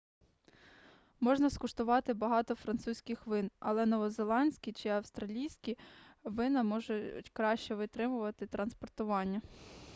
можна скуштувати багато французьких вин але новозеландські чи австралійські вина можуть краще витримувати транспортування